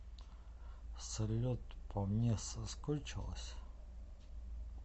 салют по мне соскучилась